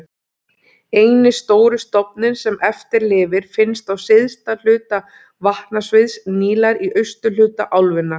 Eini stóri stofninn sem eftir lifir finnst á syðsta hluta vatnasviðs Nílar í austurhluta álfunnar.